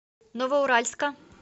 новоуральска